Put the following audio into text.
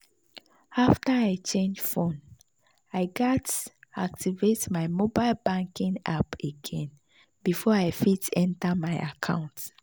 after i change phone i gatz activate my mobile banking app again before i fit enter my account.